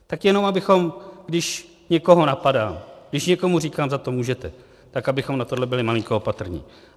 Tak jenom abychom, když někoho napadám, když někomu říkám "za to můžete", tak abychom na tohle byli malinko opatrní.